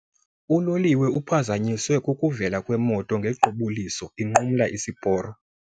Uloliwe uphazanyiswe kukuvela kwemoto ngequbuliso inqumla isiporo.